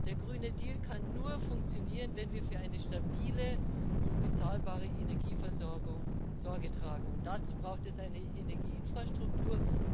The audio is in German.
Der Grüne Deal kann nur funktionieren, wenn wir für eine stabile und bezahlbare Energieversorgung Sorge tragen, und dazu braucht es eine Energieinfrastruktur.